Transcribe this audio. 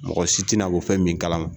Mɔgɔ si tɛna bɔ fɛn min kalama